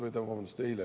Vabandust, eile!